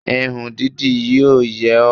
Irun dídì yíò yẹ ọ́